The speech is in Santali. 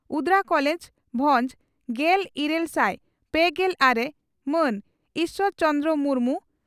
ᱩᱫᱽᱲᱟ ᱠᱚᱞᱮᱡᱽ ᱵᱷᱚᱸᱡᱽ ᱾ᱜᱮᱞ ᱤᱨᱟᱹᱞ ᱥᱟᱭ ᱯᱮᱜᱮᱞ ᱟᱨᱮ ᱹ ᱢᱟᱱ ᱤᱥᱚᱨ ᱪᱚᱱᱫᱽᱨᱚ ᱢᱩᱨᱢᱩ